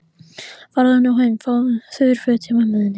Farðu nú heim og fáðu þurr föt hjá mömmu þinni.